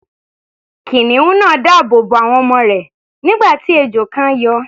Kìnìún náà dáàbò bo àwọn ọmọ rẹ̀, nígbà tí ejò kan yọ.